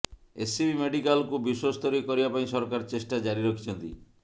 SCB ମେଡ଼ିକାଲକୁ ବିଶ୍ବସ୍ତରୀୟ କରିବା ପାଇଁ ସରକାର ଚେଷ୍ଟା ଜାରି ରଖିଛନ୍ତି